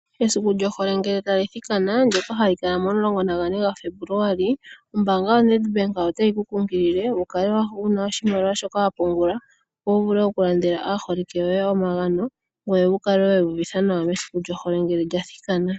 Esiku lyohole ngele tali thikana ndyoka hali dhanwa momasiku 14 Febuluali, ombaanga yaNEDBANK otayi kungulile wukale wuna oshimaliwa shoka wa pungula opo wuvule okulandela aaholike yoye opo wuya uvithe nawa mesiku lyohole.